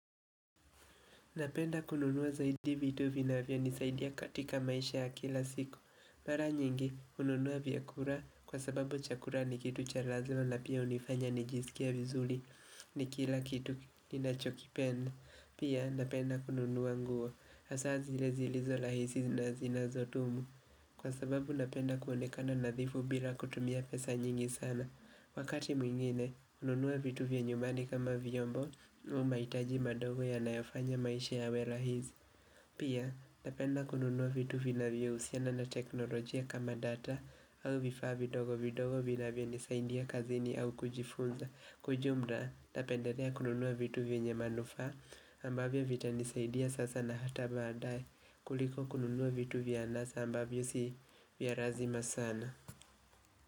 Napenda kununuwa zaidi vitu vina vya nisaidia katika maisha ya kila siku. Mara nyingi, hununuwa vya kura kwa sababu chakura ni kitu chalazima pia hunifanya ni jisikie vizuli ni kila kitu ni nacho kipenda. Pia, napenda kununuwa nguo. Asa zile zilizo lahisi na zinazotumu. Kwa sababu napenda kuonekana nadhifu bila kutumia pesa nyingi sana. Wakati mwingine, hununuwa vitu vya nyumbani kama viyombo, umaitaji madogo ya nayofanya maisha ya we lahizi. Pia, tapenda kununuwa vitu vyo usiana na teknolojia kama data au vifaa vidogo vidogo vya nisaindia kazini au kujifunza. Kujumda, napenderea kununuwa vitu vya nyamanufaa ambavyo vita nisaidia sasa na hata baadae kuliko kununuwa vitu vya anasa ambavyo si vya razima sana.